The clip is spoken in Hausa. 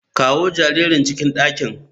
Kawo jaririn cikin dakin.